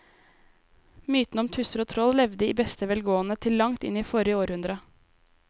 Mytene om tusser og troll levde i beste velgående til langt inn i forrige århundre.